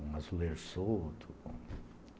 com um azulejo solto.